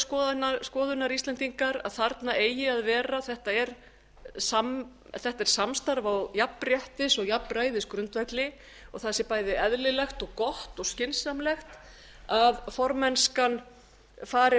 þeirrar skoðunar íslendingar að þarna eigi að vera þetta er samstarf á jafnréttis og jafnræðisgrundvelli og það sé bæði eðlilegt og gott og skynsamlegt að formennskan fari